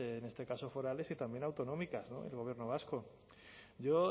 en este caso forales y también autonómicas el gobierno vasco yo